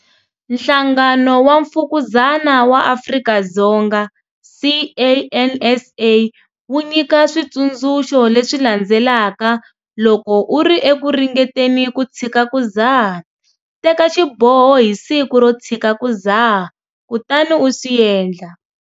Nhlangano wa Mfukuzana wa Afrika-Dzonga, CANSA, wu nyika switsundzuxo leswi landzelaka loko u ri eku ringeteni ku tshika ku dzaha- Teka xiboho hi siku ro tshika ku dzaha kutani u swi endla.